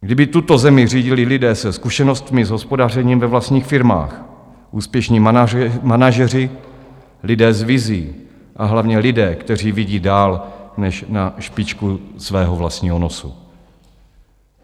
Kdyby tuto zemi řídili lidé se zkušenostmi s hospodařením ve vlastních firmách, úspěšní manažeři, lidé s vizí a hlavně lidé, kteří vidí dál než na špičku svého vlastního nosu.